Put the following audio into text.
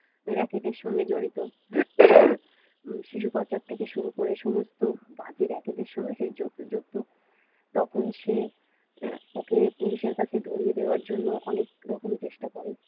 সঙ্গে জড়িত শিশু পাচার থেকে শুরু করে সমস্ত বাজে রেকেজের সঙ্গে সে যুক্ত তখনি সে ওকে পুলিশের কাছে ধরিয়ে দেওয়ার জন্য অনেক রকম চেষ্টা করে।